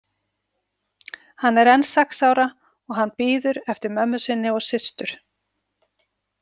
Hann er enn sex ára og hann bíður eftir mömmu sinni og systur.